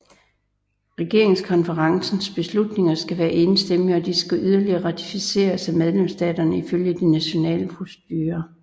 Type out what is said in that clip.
Regeringskonferencens beslutninger skal være enstemmige og de skal yderligere ratificeres af medlemsstaterne ifølge de nationale procedurer